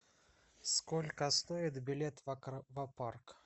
сколько стоит билет в аквапарк